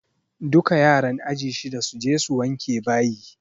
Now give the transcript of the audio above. Duka yaran aji shiɗa su je su wanke bayi!